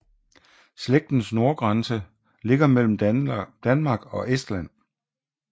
Slægtens nordgrænse ligger mellem Danmark og Estland